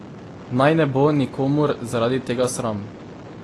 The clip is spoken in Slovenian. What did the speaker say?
Naj ne bo nikomur zaradi tega sram.